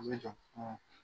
'